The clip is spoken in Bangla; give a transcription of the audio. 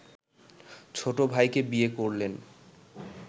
ছোট ভাইকে বিয়ে করলেন